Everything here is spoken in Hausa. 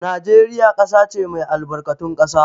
Najeriya ƙasa ce mai albarkatun ƙasa.